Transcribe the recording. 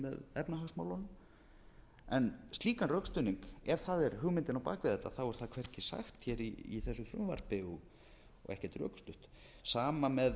efnahagsmálunum en slíkan rökstuðning ef það er hugmyndin á bak við þetta er það hvergi sagt í þessu frumvarpi og ekkert rökstutt sama með